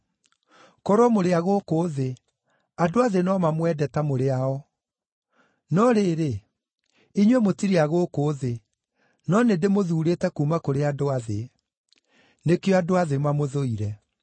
Korwo mũrĩ a gũkũ thĩ, andũ a thĩ no mamwende ta mũrĩ ao. No rĩrĩ, inyuĩ mũtirĩ a gũkũ thĩ, no nĩndĩmũthuurĩte kuuma kũrĩ andũ a thĩ. Nĩkĩo andũ a thĩ mamũthũire.